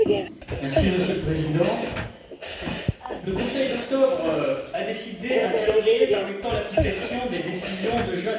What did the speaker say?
Monsieur le Président, le Conseil d'octobre a décidé d'un calendrier permettant l'application des décisions de juin dernier.